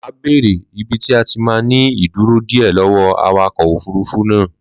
Mà á béérè ibi tí a ti máà ní ìdúró díẹ̀ lọ́wọ́ọ awakọ̀ òfurufú náà